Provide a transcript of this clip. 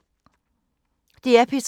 DR P3